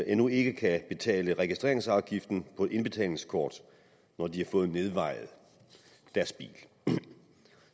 endnu ikke kan betale registreringsafgiften på et indbetalingskort når de har fået nedvejet deres bil